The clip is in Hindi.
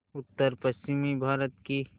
उत्तरपश्चिमी भारत की